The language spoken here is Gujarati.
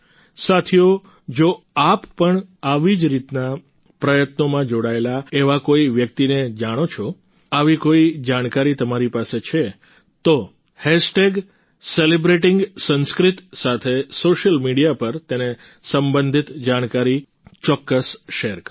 સાથીઓ જો આપ પણ આવી જ રીતના પ્રયત્નોમાં જોડાયેલા એવા કોઈ વ્યક્તિને જાણો છો આવી કોઈ જાણકારી તમારી પાસે છે તો સેલિબ્રેટિંગસંસ્કૃત સાથે સોશિયલ મીડિયા પર તેને સંબંધિત જાણકારી ચોક્કસ શેર કરો